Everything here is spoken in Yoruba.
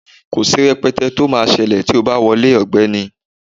Kò sí rẹ̀pẹ̀tẹ tí ó máa ṣẹlẹ̀ tí o bá wọlé ọ̀gbẹ́ni.